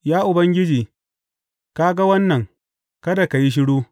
Ya Ubangiji, ka ga wannan; kada ka yi shiru.